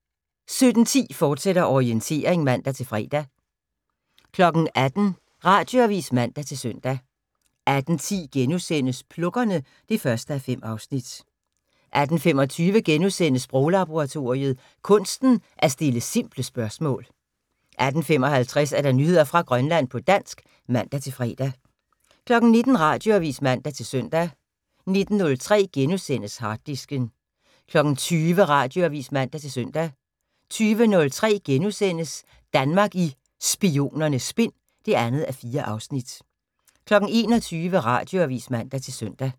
17:10: Orientering, fortsat (man-fre) 18:00: Radioavis (man-søn) 18:10: Plukkerne (1:5)* 18:25: Sproglaboratoriet: Kunsten at stille simple spørgsmål * 18:55: Nyheder fra Grønland på dansk (man-fre) 19:00: Radioavis (man-søn) 19:03: Harddisken * 20:00: Radioavis (man-søn) 20:03: Danmark i Spionernes Spind (2:4)* 21:00: Radioavis (man-søn)